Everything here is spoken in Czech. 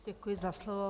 Děkuji za slovo.